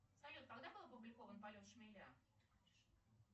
салют когда был опубликован полет шмеля